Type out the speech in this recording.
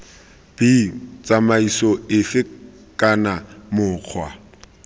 b tsamaiso efe kana mokgwa